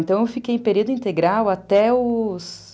Então, eu fiquei em período integral até os...